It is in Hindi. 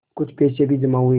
कुछ पैसे भी जमा हुए